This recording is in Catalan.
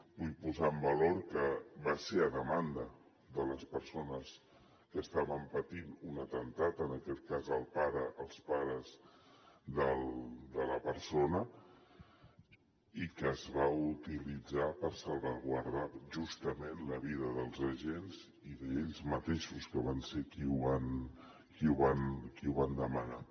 vull posar en valor que va ser a demanda de les persones que estaven patint un atemptat en aquest cas els pares de la persona i que es va utilitzar per salvaguardar justament la vida dels agents i d’ells mateixos que van ser qui ho van demanar